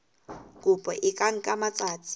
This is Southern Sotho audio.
kopo e ka nka matsatsi